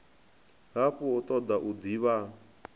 hafhu a toda u divha